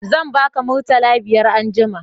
Zan ba ka murtala biyar anjima